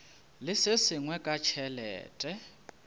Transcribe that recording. le se sengwe ka tšhelete